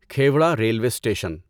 Khewra railway station